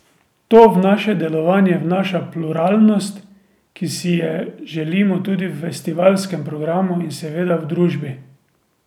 To v naše delovanje vnaša pluralnost, ki si je želimo tudi v festivalskem programu in seveda v družbi.